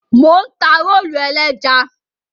Mò ń ta rólù ẹlẹ́ja.